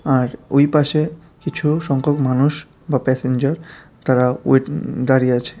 আর ওই পাশে কিছু সংখ্যক মানুষ বা প্যাসেঞ্জার তারা ওয়েট দাঁড়িয়ে আছে।